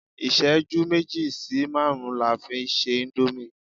iṣẹju meji sí marun la fi n se Indomie